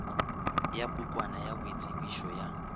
ya pukwana ya boitsebišo ya